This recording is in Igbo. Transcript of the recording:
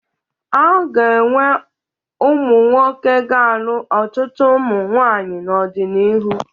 A ga-enwe ụmụnwoke ga-alụ ọtụtụ ụmụ nwaanyị n'ọdịnihu